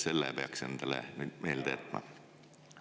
Selle peaks endale nüüd meelde jätma.